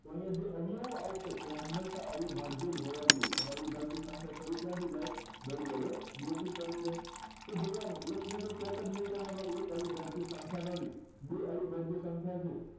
તો અહિયાં જો અવયવો આવશે એ હમેશા અવિભાજ્ય જ હોવા જોઈએ અને અવિભાજ્ય સંખ્યા શરુ ક્યાંથી થાય બે વડે બે થી શરુ થાય તો જોવા નું એક ને કરવા નો બે અવિભાજ્ય સંખ્યા છે